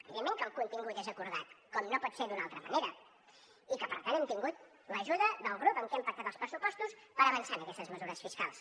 evidentment que el contingut és acordat com no pot ser d’una altra manera i que per tant hem tingut l’ajuda del grup amb què hem pactat els pressupostos per avançar en aquestes mesures fiscals